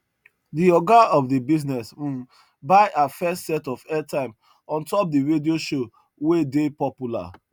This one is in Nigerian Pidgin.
the oga of the business um buy her first set of airtime on top the radio show wey dey popular